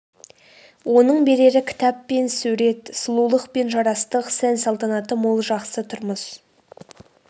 оның берері кітап пен сурет сұлулық пен жарастық сән-салтанаты мол жақсы тұрмыс